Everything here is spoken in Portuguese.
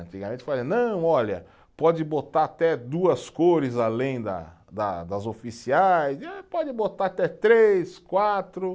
Antigamente, não, olha, pode botar até duas cores além da da das oficiais, pode botar até três, quatro.